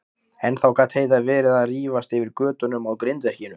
Ennþá gat Heiða verið að rífast yfir götunum á grindverkinu.